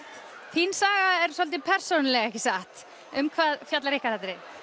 þín saga er svolítið persónulegt ekki satt um hvað fjallar ykkar atriði